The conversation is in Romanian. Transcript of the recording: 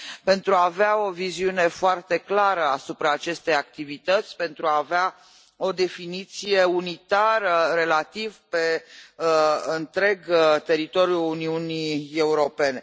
pentru a avea o viziune foarte clară asupra acestei activități, pentru a avea o definiție relativ unitară pe întreg teritoriul Uniunii Europene.